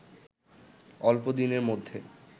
অল্প দিনের মধ্যে